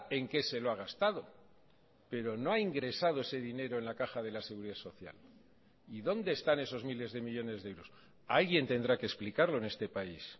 en qué se lo ha gastado pero no ha ingresado ese dinero en la caja de la seguridad social y dónde están esos miles de millónes de euros alguien tendrá que explicarlo en este país